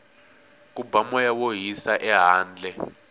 ku ba moya wo hisa ehandle